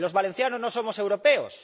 ¿Que los valencianos no somos europeos?